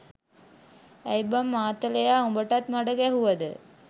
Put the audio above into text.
ඇයි බං මාතලයා උඹටත් මඩ ගැහුවද